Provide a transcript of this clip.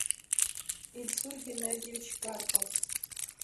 ильсур геннадьевич карпов